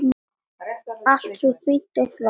Allt svo fínt og flott.